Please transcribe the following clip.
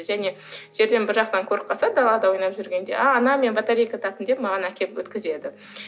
және жерден бір жақтан көріп қалса далада ойнап жүргенде а ана мен батарейка таптым деп маған әкеліп өткізеді